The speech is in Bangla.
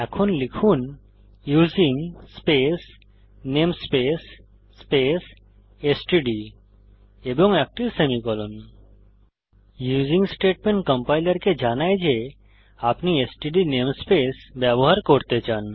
এখন লিখুন using space namespace space STD এবং একটি সেমিকোলন ইউজিং স্টেটমেন্ট কম্পাইলারকে জানায় যে আপনি এসটিডি নেমস্পেস ব্যবহার করতে চান